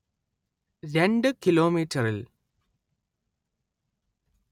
രണ്ട്‌ കിലോമീറ്ററിൽ